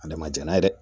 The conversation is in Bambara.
Adamajɛ n'a ye dɛ